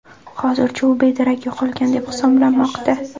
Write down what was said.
Hozircha u bedarak yo‘qolgan deb hisoblanmoqda.